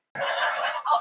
Já, segir hann einlægur.